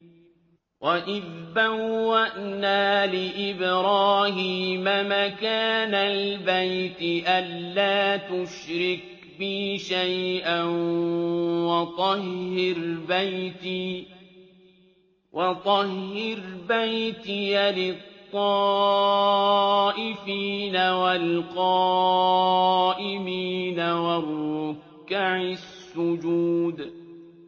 وَإِذْ بَوَّأْنَا لِإِبْرَاهِيمَ مَكَانَ الْبَيْتِ أَن لَّا تُشْرِكْ بِي شَيْئًا وَطَهِّرْ بَيْتِيَ لِلطَّائِفِينَ وَالْقَائِمِينَ وَالرُّكَّعِ السُّجُودِ